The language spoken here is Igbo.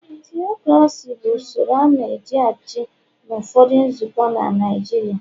Tiokrasi bụ usoro a na eji -achị n'ụfọdụ nzukọ na Naịjirịa. il